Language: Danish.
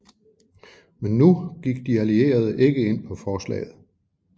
Men nu gik de allierede ikke ind på forslaget